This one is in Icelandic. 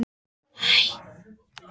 Marín, hver syngur þetta lag?